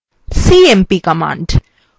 cmp command